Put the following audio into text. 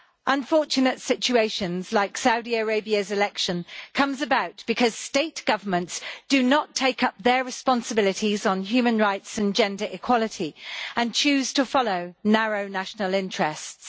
Unfortunate situations like Saudi Arabia's election come about because governments do not assume their responsibilities on human rights and gender equality, and choose to follow narrow national interests.